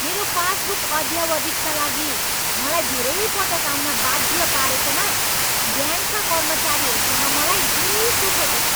मेरो पासबुक अद्यावधिकका लागि मलाई धेरै पटक आउन बाध्य पारेकोमा ब्याङ्कका कर्मचारीहरूसँग मलाई रिस उठेको छ।